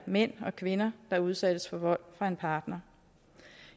mænd og kvinder der udsættes for vold fra en partner